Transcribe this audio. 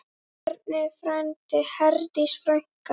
Bjarni frændi, Herdís frænka.